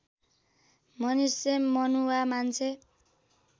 मनुष्य मनुवा मान्छे